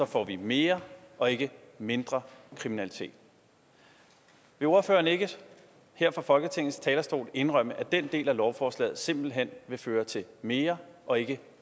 får vi mere og ikke mindre kriminalitet vil ordføreren ikke her fra folketingets talerstol indrømme at den del af lovforslaget simpelt hen vil føre til mere og ikke